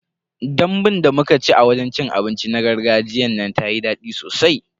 Dambun da muka ci a wajen cin abinci na gargajiyan nan tayi dadi sosai.